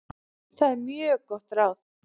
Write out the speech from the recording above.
Það er mjög gott ráð.